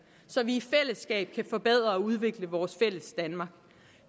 så vi i fællesskab kan forbedre og udvikle vores fælles danmark